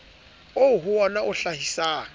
oo ho wona o hlahisang